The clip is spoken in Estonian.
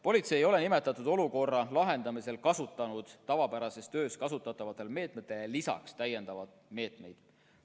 " Politsei ei ole nimetatud olukorra lahendamisel kasutanud tavapärases töös kasutatavatele meetmetele lisaks täiendavaid meetmeid.